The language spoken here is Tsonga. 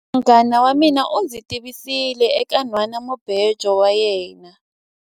Munghana wa mina u ndzi tivisile eka nhwanamubejo wa yena.